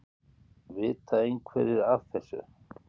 Vita einhverjir aðrir af þessu?